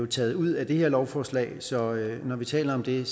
taget ud af det her lovforslag så når vi taler om det